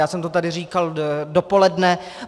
Já jsem to tady říkal dopoledne.